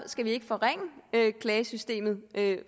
skal forringe klagesystemet